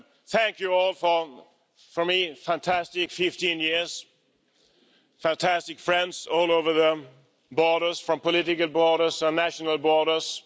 Thank you all from me for a fantastic 15 years fantastic friends all over the borders, from political borders and national borders.